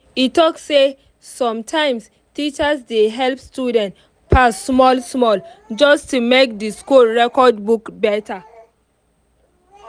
e talk say sometimes teachers dey help students pass small-small just to make the school record look better.